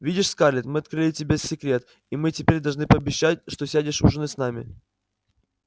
видишь скарлетт мы открыли тебе секрет и мы теперь должны пообещать что сядешь ужинать с нами